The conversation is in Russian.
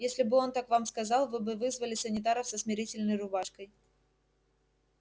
если бы он так вам сказал вы бы вызвали санитаров со смирительной рубашкой